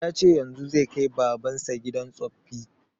Ya ce yanzun zai kai baban sa gidan tsoffi